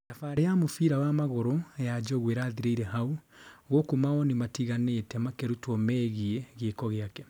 thabarĩ ya mũbira wa magũrũ ya njogu ĩrathirĩire haũ, gũkũ mawoni matigane makĩrutwo megiĩ gĩko gĩake.